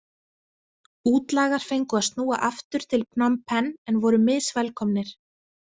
Útlagar fengu að snúa aftur til Phnom Penh en voru misvelkomnir.